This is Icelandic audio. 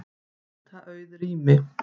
Nýta auð rými